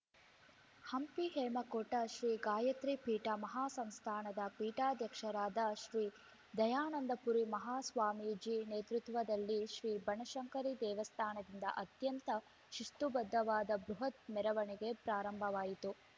ಹಂಪಿ ಹೇಮಕೂಟ ಶ್ರೀ ಗಾಯತ್ರಿ ಪೀಠ ಮಹಾ ಸಂಸ್ಥಾನದ ಪೀಠಾಧ್ಯಕ್ಷರಾದ ಶ್ರೀ ದಯಾನಂದಪುರಿ ಮಹಾಸ್ವಾಮಿಜಿ ನೇತೃತ್ವದಲ್ಲಿ ಶ್ರೀ ಬನಶಂಕರಿ ದೇವಸ್ಥಾನದಿಂದ ಅತ್ಯಂತ ಶಿಸ್ತುಬದ್ಧವಾದ ಬೃಹತ್‌ ಮೆರವಣಿಗೆ ಪ್ರಾರಂಭವಾಯಿತು